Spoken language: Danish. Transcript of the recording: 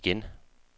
igen